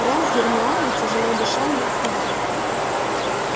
рон с гермионой тяжело дыша не отставали